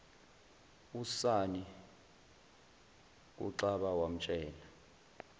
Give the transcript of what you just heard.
usonny kuxaba wamtshela